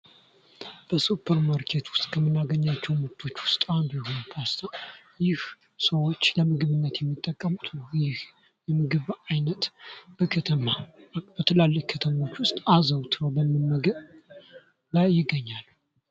በሱፐር ማርኬት ምርቶች ውስጥ ከምናገኛቸው ውጤቶች ውስጥ አንዱ ፖስታ ይህ ሰዎች ለ ምግብነት የሚጠቀሙት ነው ።ይህ የምግብ ዓይነት በከተማ በትላልቅ ከተሞች አዘውትሮ በመመገብ ላይ ይገኛሉ።